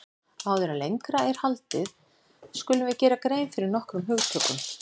Áður en lengra er haldið skulum við gera grein fyrir nokkrum hugtökum.